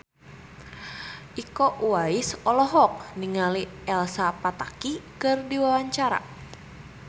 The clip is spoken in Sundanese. Iko Uwais olohok ningali Elsa Pataky keur diwawancara